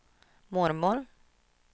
mormor